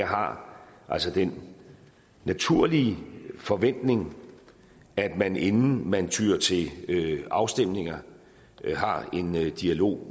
har den naturlige forventning at man inden man tyer til afstemninger har en dialog